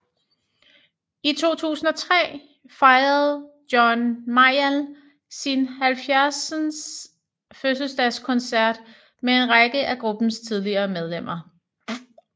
I 2003 fejrede John Mayall sin 70th Birthday Concert med en række af gruppens tidligere medlemmer